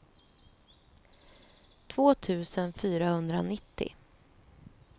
två tusen fyrahundranittio